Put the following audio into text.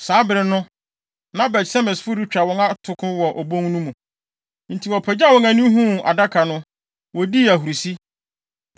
Saa bere no, na Bet-Semesfo retwa wɔn atoko wɔ obon no mu. Enti wɔpagyaw wɔn ani huu Adaka no, wodii ahurusi.